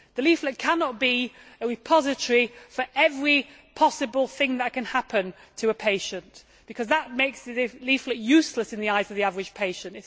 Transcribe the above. The leaflet cannot be a repository for every possible thing that can happen to a patient, because that makes the leaflet useless in the eyes of the average patient.